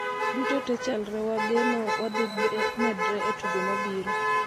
Duto tee chalre wa geno wadhimedre e tugo mabiro